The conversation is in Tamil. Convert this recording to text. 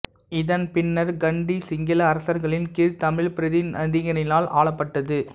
இதன் பின்னர் கண்டி சிங்கள அரசர்களின் கீழ் தமிழ் பிரதிநிதிகளினால் ஆளப்பட்டது